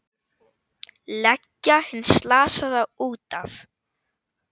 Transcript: Leggja hinn slasaða út af.